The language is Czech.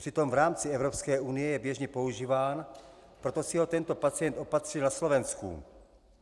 Přitom v rámci Evropské unie je běžně používáno, proto si ho tento pacient opatřil na Slovensku.